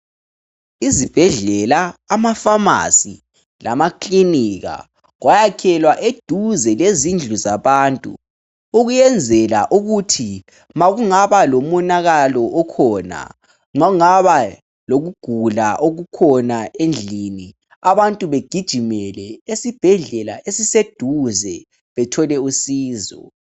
Izibhedlela amafamasi lamaKilinika kwayalhelwa eduze lezindlu zabantu ukwenzela ukuthi makungaba lomonalala ikhona kungaba lokugula okukhona endlini abantu begijimele esibhedlela esiseduze bethole usizo